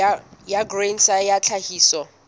ya grain sa ya tlhahiso